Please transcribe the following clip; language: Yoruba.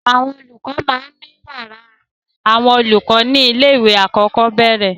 Àwọn olùkọ́ máa ń ní ìyàrá àwọn olùkọ́ ní ilé-ìwé alákọ̀ọ́bẹ̀rẹ̀.